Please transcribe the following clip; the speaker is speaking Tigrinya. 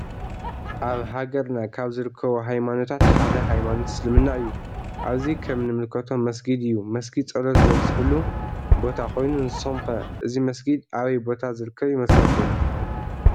አብ ሃገርና ካብ ዝርከቡ ሃይማኖታት ሓደ ሃይማኖት እስልምና እዩ ።አብዚ ከም ንምልከቶ መስጊድ አዩ መስጊድ ፀሎት ዘብፀሕሉ ቦታ ኮይኑ ንስኩም ከ አዚ መስጊዲ አበይ ቦታ ዝርከብ ይመስለኩም?